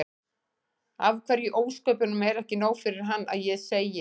Af hverju í ósköpunum er ekki nóg fyrir hann að ég segi